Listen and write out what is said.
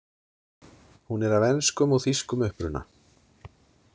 Hún er af enskum og þýskum uppruna.